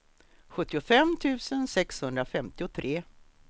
sjuttiofem tusen sexhundrafemtiotre